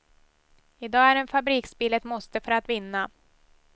Idag är en fabriksbil ett måste för att vinna.